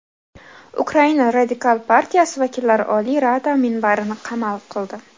Ukraina Radikal partiyasi vakillari Oliy Rada minbarini qamal qildi.